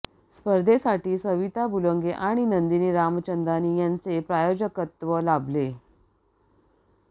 स्पर्धेसाठी सविता बुलंगे आणि नंदिनी रामचंदानी यांचे प्रायोजकत्व लाभले